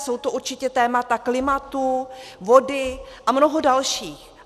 Jsou to určitě témata klimatu, vody a mnoho dalších.